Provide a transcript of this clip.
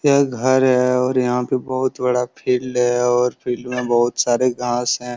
यह एक घर है और यहाँ पे बोहोत बड़ा फील्ड है और फील्ड में बोहोत सारे घास हैं।